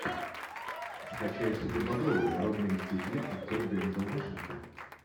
скачай супербобровы народные мстители актер дензел вашингтон